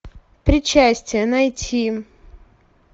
причастие найти